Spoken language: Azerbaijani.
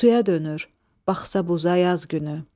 Suya dönür, baxsa buza yaz günü.